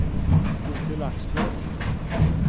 Bodil Aksnes